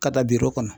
Ka da kɔnɔ